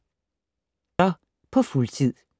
Forfatter på fuldtid